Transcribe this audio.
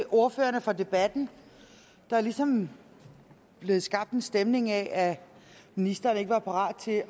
ordførerne for debatten der er ligesom blevet skabt en stemning af at ministeren ikke var parat til